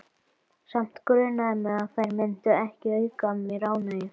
Samt grunaði mig að þær myndu ekki auka mér ánægju.